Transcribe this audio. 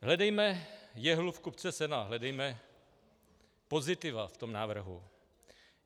Hledejme jehlu v kupce sena, hledejme pozitiva v tom návrhu.